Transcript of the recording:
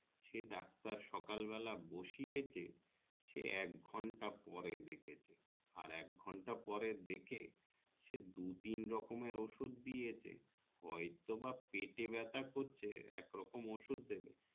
সে doctor সকাল বেলা বসিয়েছে সে একঘন্টা পরে দেখেছে আর একঘন্টা পরে দেখে সে দু তিন রকমের ওষুধ দিয়েছে হয়তো বা পেটে বেথা করছে একরকম ওষুধ দেবে